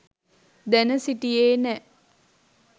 දැන සිටියෙ නෑ.